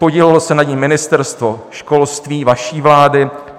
Podílelo se na ní Ministerstvo školství vaší vlády.